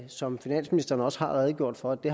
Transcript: som finansministeren også har redegjort for at det